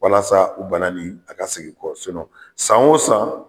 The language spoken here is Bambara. Walasa o bana nin a ka sigi kɔ san o san